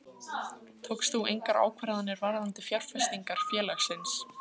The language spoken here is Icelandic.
Guðný: Tókst þú engar ákvarðanir varðandi fjárfestingar félagsins?